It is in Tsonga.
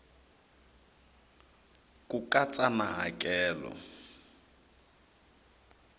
c ku katsa na hakelo